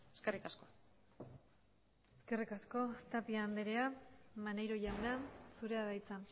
eskerrik asko eskerrik asko tapia andrea maneiro jauna zurea da hitza